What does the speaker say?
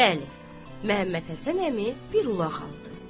Bəli, Məhəmməd Həsən əmi bir ulaq aldı.